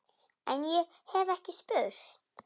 En- ég hef ekki spurt.